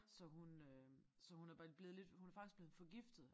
Så hun øh så hun er blevet lidt hun er faktisk blevet forgiftet